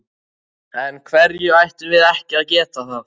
Af hverju ættum við ekki að geta það?